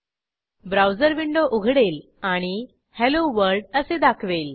browser window उघडेल आणि hello world असे दाखवेल